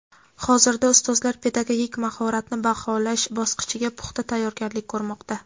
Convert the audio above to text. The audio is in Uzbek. Hozirda ustozlar pedagogik mahoratni baholash bosqichiga puxta tayyorgarlik ko‘rmoqda.